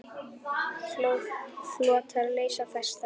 Flotar leysa festar.